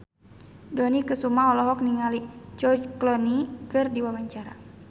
Dony Kesuma olohok ningali George Clooney keur diwawancara